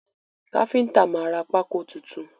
Káfíntà máa ra pákó tuntun.